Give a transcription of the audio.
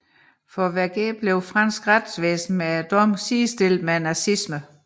For Vergès blev fransk retsvæsen med dommen sidestillet med nazismen